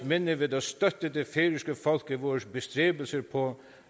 minde ved at støtte det færøske folk i vores bestræbelser på